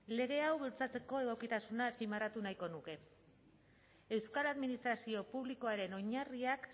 lege hau bultzatzeko egokitasuna azpimarratu nahiko nuke euskal administrazio publikoaren oinarriak